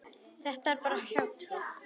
Þetta er bara hjátrú.